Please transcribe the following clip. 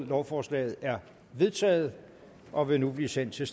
lovforslaget er vedtaget og vil nu blive sendt til